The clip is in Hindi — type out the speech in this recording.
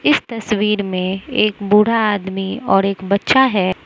इस तस्वीर में एक बूढ़ा आदमी और एक बच्चा है।